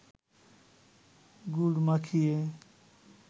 গুড় মাখিয়ে